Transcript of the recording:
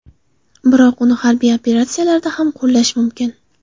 Biroq uni harbiy operatsiyalarda ham qo‘llash mumkin.